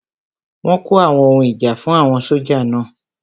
Wọ́n kó àwọn ohun ìjà fún àwọn sójà náà